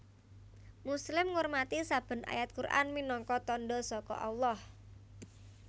Muslim ngurmati saben ayat Quran minangka tandha saka Allah